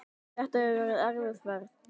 Þetta hefur verið erfið ferð.